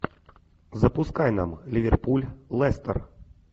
запускай нам ливерпуль лестер